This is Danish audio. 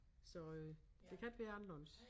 Så øh det kan ikke være anderledes